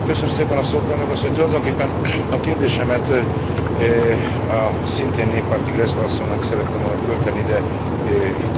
Tulajdonképpen a kérdésemet a szintén néppárti Grassle asszonynak szerettem volna föltenni, de itt is el fog férni.